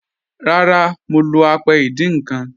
Rárá, mọ̀ lọ́ àpẹ̀ ìdíń nkan.